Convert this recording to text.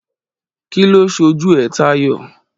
Kí ló sọ jù é tayọ?